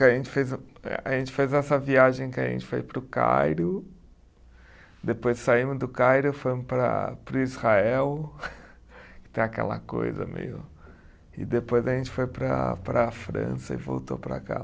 A gente fez, eh, a gente fez essa viagem que a gente foi para o Cairo, depois saímos do Cairo e fomos para para o Israel, que tem aquela coisa meio. E depois a gente foi para para a França e voltou para cá.